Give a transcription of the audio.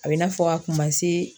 A bɛ i n'a fɔ a kun ma se